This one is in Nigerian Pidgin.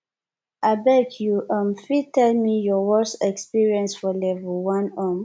abeg you um fit tell me your worse experience for level 1 um